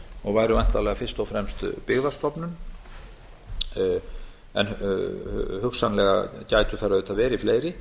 og væri væntanlega fyrst og fremst byggðastofnun en hugsanlega gætu þær auðvitað verið fleiri